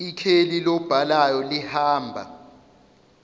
ikheli lobhalayo lihamba